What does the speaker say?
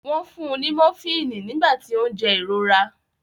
Wọ́n fun ní mofíìnì nígbà tí ó ń jẹ ìrora.